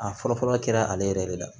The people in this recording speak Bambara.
A fɔlɔ fɔlɔ kɛra ale yɛrɛ de la